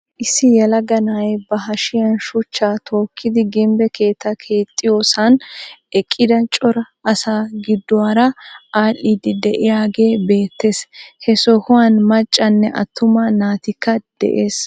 Issi yelaga na'ay ba hashshiyan shuchchaa tookkidi gimbbe keettaa keexxiyoosan eqqida cora asaa gidduwaara adhiidi de'iyaagee beettees. He sohuwaan maccanne attuma naatikka de'ees.